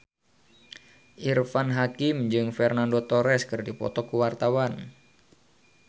Irfan Hakim jeung Fernando Torres keur dipoto ku wartawan